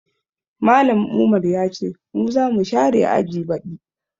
Mallam Umar ya ce mu za mu share aji baɗi